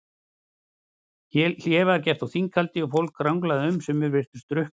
Hlé var á þinghaldi og fólk ranglaði um, sumir virtust drukknir.